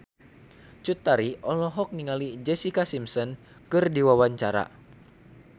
Cut Tari olohok ningali Jessica Simpson keur diwawancara